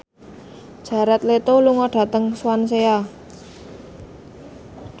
Jared Leto lunga dhateng Swansea